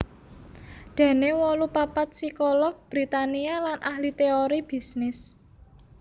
Daniel wolu papat psikolog Britania lan ahli téori bisnis